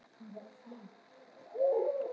Konan virtist ekkert skilja þetta heldur.